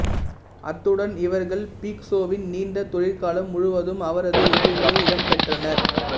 அத்துடன் இவர்கள் பிக்காசோவின் நீண்ட தொழிற்காலம் முழுவதும் அவரது ஓவியங்களில் இடம்பெற்றனர்